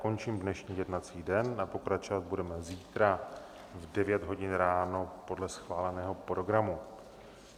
Končím dnešní jednací den a pokračovat budeme zítra v 9 hodin ráno podle schváleného programu.